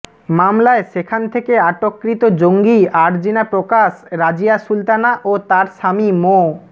মামলায় সেখান থেকে আটককৃত জঙ্গি আরজিনা প্রকাশ রাজিয়া সুলতানা ও তার স্বামী মো